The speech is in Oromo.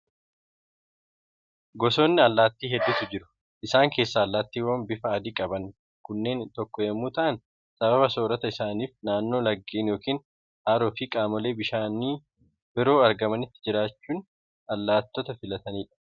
Gosoonni allaattii hedduutu jiru. Isaan keessaa allaattiiwwan bifa adii qaban kunneen tokko yommuu ta'an, sababa soorata isaaniif naannoo laggeen yookiin haroo fi qaamoleen bishaanii biroo argamanitti jiraachuu allaattota filatani dha.